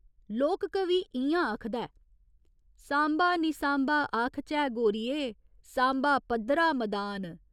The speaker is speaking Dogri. लोक कवि इ'यां आखदा ऐ, सांबा निं सांबा आखचै गोरिये, सांबा पद्दरा मदान।